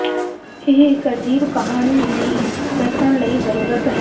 ਇਹ ਇੱਕ ਅਜੀਬ ਕਹਾਣੀ ਵੀ ਦੱਸਣ ਲਈ ਜ਼ਰੂਰਤ ਹੈ